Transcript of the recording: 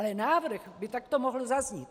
Ale návrh by takto mohl zaznít.